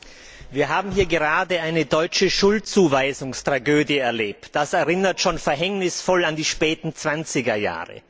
Herr Präsident! Wir haben hier gerade eine deutsche Schuldzuweisungstragödie erlebt. Das erinnert schon verhängnisvoll an die späten Zwanzigerjahre.